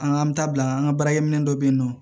An ka an ta bila an ka baarakɛminɛ dɔ bɛ yen nɔ